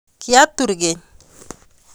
kiatar keny